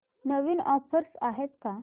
नवीन offers आहेत का